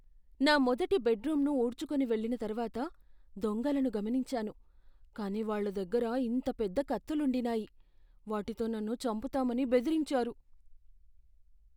నా మొదటి బెడ్రూమ్ను ఊడ్చుకొని వెళ్ళిన తర్వాత దొంగలను గమనించాను, కాని వాళ్ళ దగ్గర ఇంత పెద్ద కత్తులుండినాయి, వాటితో నన్ను చంపుతామని బెదిరించారు.